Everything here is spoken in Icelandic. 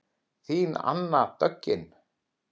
Þín Anna Döggin.